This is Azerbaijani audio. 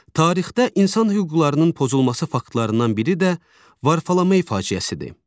Tarixdə insan hüquqlarının pozulması faktlarından biri də Varfolomey faciəsidir.